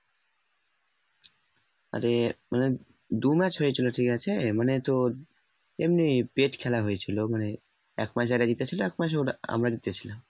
আরে মানে দু match হয়েছিল ঠিক আছে মানে তোর এমনি খেলা হয়েছিল মানে এক পাস ওরা জিতেছিল এক আমরা জিতেছিলাম।